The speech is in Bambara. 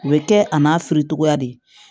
U bɛ kɛ a n'a firitogoya de ye